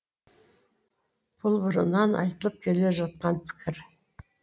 бұл бұрыннан айтылып келе жатқан пікір